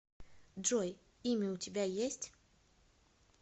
джой имя у тебя есть